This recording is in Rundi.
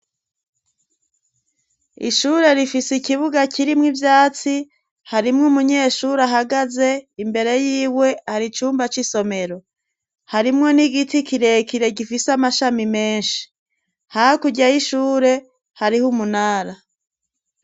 Ishure rifise ikibuga kirimwo ivyatsi harimwo umunyeshuri ahagaze imbere y'iwe hari icyumba c'isomero harimwo n'igiti kirekire gifise amashami menshi hakujyay ishure hariho umunara.